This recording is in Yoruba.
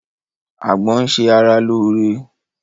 Àgbọn ń ṣe ara lóore